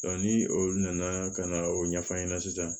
ni olu nana ka na o ɲɛfɔ an ɲɛna sisan